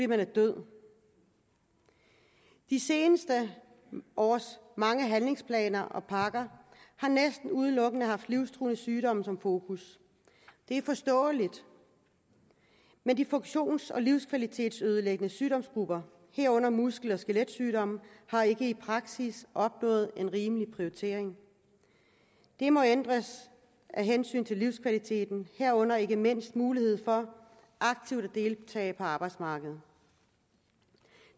man er død de seneste års mange handlingsplaner og pakker har næsten udelukkende haft livstruende sygdomme som fokus det er forståeligt men de funktions og livskvalitetsødelæggende sygdomsgrupper herunder muskel og skeletsygdomme har ikke i praksis fået en rimelig prioritering det må ændres af hensyn til livskvaliteten herunder ikke mindst muligheden for aktivt at deltage på arbejdsmarkedet